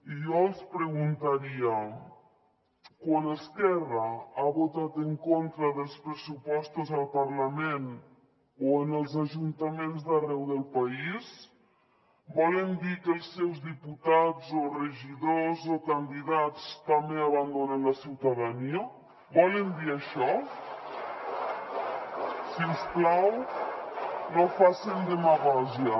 i jo els preguntaria quan esquerra ha votat en contra dels pressupostos al parlament o en els ajuntaments d’arreu del país volen dir que els seus diputats o regidors o candidats també abandonen la ciutadania volen dir això si us plau no facin demagògia